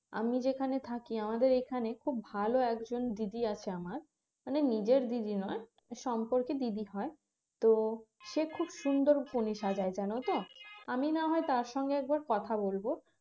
আমি যেখানে থাকি আমাদের এখানে খুব ভালো একজন দিদি আছে আমার মানে নিজের দিদি নয় সম্পর্কে দিদি হয় তো সে খুব সুন্দর কনে সাজায় জানতো আমি না হয় তার সঙ্গে একবার কথা বলবো